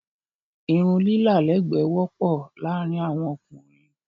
Irun lilá lẹ́ẹ̀gbẹ́ wọ́pọ̀ láàrin awọn ókúnrin